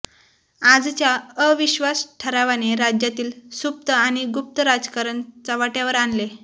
आजच्या अविश्वास ठरावाने राज्यातील सुप्त आणि गुप्त राजकारण चव्हाटयावर आले